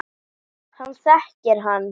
Hann þekkir hann.